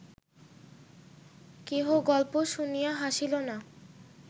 কেহ গল্প শুনিয়া হাসিল না